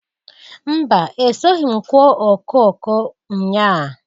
Mba! Esoghi m kụọ okooko nnyaa.